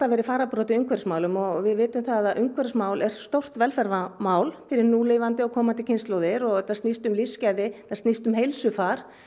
verið í fararbroddi í umhverfismálum og við vitum það að umhverfismál eru stórt velferðarmál fyrir núlifandi og komandi kynslóðir og þetta snýst um lífsgæði og snýst um heilsufar